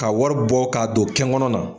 Ka wari bɔ k'a don kɛn ŋɔnɔ na